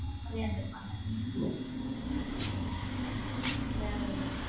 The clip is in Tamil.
செமையா இருந்திருப்பாங்க விளையாடுவா.